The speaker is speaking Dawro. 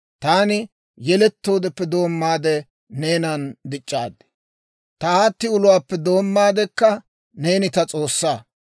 Taani yelettoodeppe doommaade neenan dic'c'aad; ta aatti uluwaappe doommaadekka, neeni ta S'oossaa.